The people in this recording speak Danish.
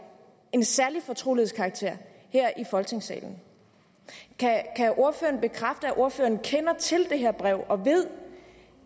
en særlig fortrolighedskarakter kan ordføreren bekræfte at ordføreren kender til det her brev og ved